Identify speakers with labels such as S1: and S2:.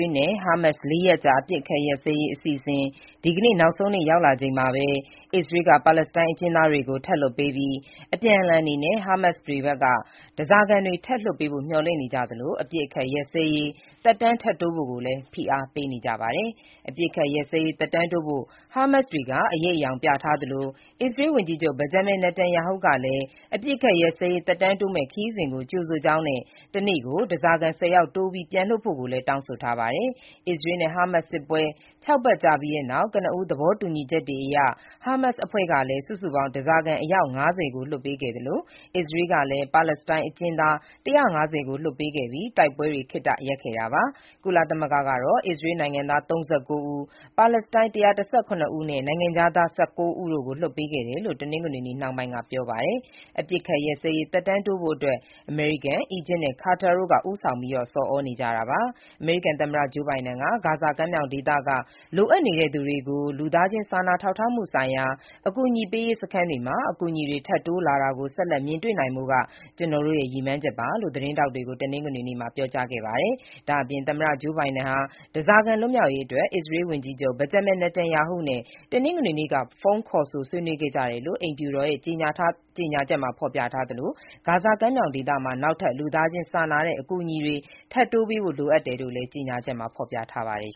S1: ေးနဲ့ ဟာမတ်စ် ၄ ရက်ကြာ အပစ်အခတ်ရပ်စဲရေး အစီအစဉ် ဒီကနေ့ နောက်ဆုံးနေ့ ရောက်လာချိန်မှာပဲ အစ္စရေးက ပါလက်စတိုင်းအကျဉ်းသားတွေ ထပ်လွှတ်ပေးပြီး၊ အပြန်အလှန်အနေနဲ့ ဟာမတ်စ်တွေဖက်က ဓားစာခံတွေ ထပ်လွှတ်ပေးဖို့ မျှော်လင့်နေကြသလို၊ အပစ်အခတ် ရပ်စဲရေး သက်တမ်းထပ်တိုးဖို့လည်း ဖိအားပေးနေကြပါတယ်။ အပစ်အခတ်ရပ်စဲရေး သက်တမ်းတိုးဖို့ ဟာမတ်စ်တွေက အရိပ်အယောင်ပြထားသလို၊ အစ္စရေးဝန်ကြီးချုပ် ဘင်ဂျမင်နေတန်ယာဟုကလည်း အပစ်အခတ်ရပ်စဲရေး သက်တမ်းတိုးမယ့် အစီအစဉ်ကို ကြိုဆိုကြောင်းနဲ့ တနေ့ကို ဓားစာခံ ၁၀ ယောက်တိုးပြီး ပြန်လွှတ်ဖို့လည်း တောင်းဆိုထားပါတယ်။ အစ္စရေးနဲ့ ဟာမတ်စ်စစ်ပွဲ ၆ ပတ်ကြာ ပြီးတဲ့နောက် ကနဦးသဘောတူညီချက်တွေအရ ဟာမတ်စ်အဖွဲ့က စုစုပေါင်း ဓားစာခံ အယောက် ၅၀ ကို လွှတ်ပေးခဲ့သလို၊ အစ္စရေးကလည်း ပါလက်စတိုင်း အကျဉ်းသား ၁၅၀ ကို လွှတ်ပေးခဲ့ပြီး တိုက်ပွဲတွေ ခေတ္တရပ်ခဲ့တာပါ။ ကုလသမဂ္ဂကတော့ အစ္စရေးနိုင်ငံသား ၃၉ ဦး၊ ပါလက်စတိုင်း ၁၁၇ ဦးနဲ့ နိုင်ငံခြားသား ၁၉ ဦးတို့ကို လွှတ်ပေးခဲ့တယ်လို့ တနင်္ဂနွေနေ့နှောင်းပိုင်းက ပြောပါတယ်။ အပစ်အခတ်ရပ်စဲရေး သက်တမ်းတိုးဖို့အတွက် အမေရိကန်၊ အီဂျစ်နဲ့ ကာတာတို့က ဦးဆောင်ဆော်ဩနေကြတာပါ။ အမေရိကန်သမ္မတဂျိုးဘိုင်ဒန်က "ဂါဇာကမ်းမြောင်ဒေသက လိုအပ်နေတဲ့သူတွေကို လူသားချင်းစာနာထောက်ထားမှုဆိုင်ရာ ကယ်ဆယ်ရေးစခန်းတွေမှာ အကူအညီတွေ ထပ်တိုးလာတာကို ဆက်လက်မြင်တွေ့နိုင်ဖို့က ကျွန်တော့်ရဲ့ ရည်မှန်းချက်ပါ” လို့ သတင်းထောက်တွေကို တနင်္ဂနွေနေ့မှာ ပြောကြားခဲ့ပါတယ်။ ဒါ့အပြင် သမ္မတဂျိုးဘိုင်ဒန်ဟာ ဓားစာခံ လွတ်မြောက်ရေးအတွက် အစ္စရေးဝန်ကြီးချုပ်ဘင်ဂျမင်နေတန်ယာဟုနဲ့ တနင်္ဂနွေနေ့က ဖုန်းခေါ်ဆိုဆွေးနွေးခဲ့ကြတယ်လို့ အိမ်ဖြူတော်ရဲ့ ကြေညာထားသလို၊ ဂါဇာကမ်းမြောင်ဒေသမှာ နောက်ထပ် လူသားချင်းစာနာတဲ့ အကူအညီတွေ ထပ်တိုးပေးဖို့ လိုအပ်တယ်လို့လည်း ကြေညာချက်မှာ ဖော်ပြထားပါတယ်